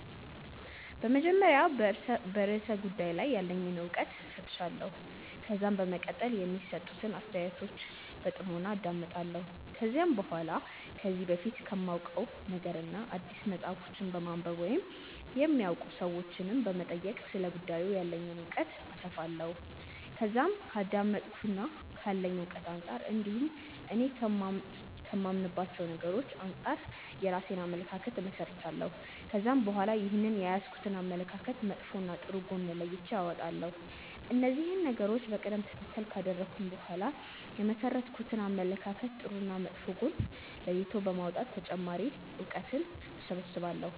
በመጀመሪያ በርእሰ ጉዳዩ ላይ ያለኝን እውቀት እፈትሻለሁ። ከዛም በመቀጠል የሚሰጡትን አስተያየቶች በጥሞና አዳምጣለሁ። ከዛም በኋላ ከዚህ በፊት ከማውቀው ነገርና አዲስ መጽሐፎችን በማንበብ ወይም የሚያውቁ ሰዎችንም በመጠየቅ ስለ ጉዳዩ ያለኝን እውቀት አሰፋለሁ። ከዛም ከአዳመጥኩትና ካለኝ እውቀት አንጻር እንዲሁም እኔ ከማምንባቸው ነገሮች አንጻር የራሴን አመለካከት እመሠረታለሁ። ከዛም በኋላ ይህንን የያዝኩትን አመለካከት መጥፎና ጥሩ ጎን ለይቼ አወጣለሁ። እነዚህን ነገሮች በቀደም ተከተል ካደረኩ በኋላ የመሠረትኩትን አመለካከት ጥሩና መጥፎ ጎን ለይቶ በማውጣት ተጨማሪ እውቀትን እሰበስባለሁ።